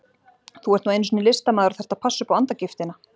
Þú ert nú einu sinni listamaður og þarft að passa upp á andagiftina.